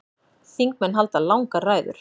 Þingmenn halda langar ræður.